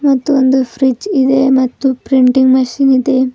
ಮತ್ತು ಒಂದು ಫ್ರಿಡ್ಜ್ ಇದೆ ಮತ್ತು ಪ್ರಿಂಟಿಂಗ್ ಮಿಷನ್ ಇದೆ.